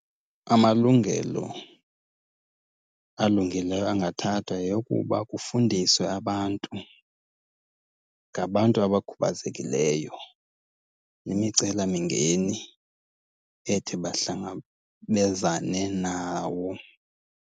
Amalungelo alungileyo angathathwa yeyokuba kufundiswe abantu ngabantu abakhubazekileyo nemicelamingeni ethi bahlangabezane nawo.